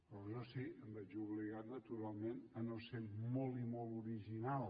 però això sí em veig obligat naturalment a no ser molt i molt original